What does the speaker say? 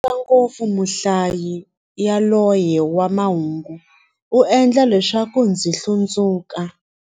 Ndzi nyadza ngopfu muhlayi yaloye wa mahungu, u endla leswaku ndzi hlundzuka.